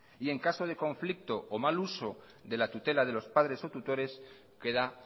y en caso de conflicto o mal uso de la tutela de los padres o tutores queda